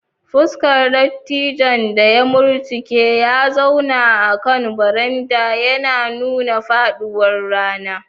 Fuskar dattijon da ya murtuke ya zauna akan baranda, yana nuna faɗuwar rana.